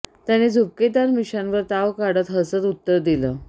त्याने झुपकेदार मिशांवर ताव काढ्त हसत उत्तर दिल